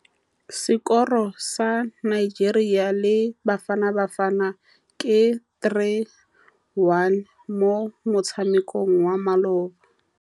Sekôrô sa Nigeria le Bafanabafana ke 3-1 mo motshamekong wa malôba.